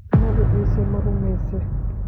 Nabii Issa marumeyse?